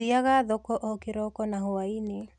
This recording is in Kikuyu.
Thiaga thoko o kĩroko na hwainĩ.